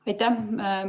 Aitäh!